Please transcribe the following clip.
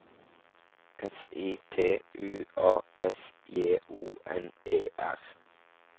S I T U A S J O N E R